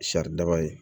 Sari daba ye